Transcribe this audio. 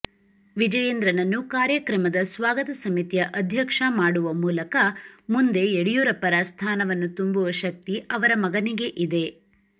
ವಿಜಯೇಂದ್ರನನ್ನು ಕಾರ್ಯಕ್ರಮದ ಸ್ವಾಗತ ಸಮಿತಿಯ ಅಧ್ಯಕ್ಷ ಮಾಡುವ ಮೂಲಕ ಮುಂದೆ ಯಡಿಯೂರಪ್ಪರ ಸ್ಥಾನವನ್ನು ತುಂಬುವ ಶಕ್ತಿ ಅವರ ಮಗನಿಗೆ ಇದೆ